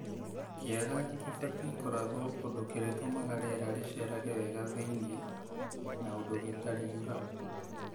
Kĩaga kibatiĩ kũrathwo ũndũ kĩrĩtũmaga rĩera rĩcerage wega thĩinĩ na ũndũ gĩtariuraga.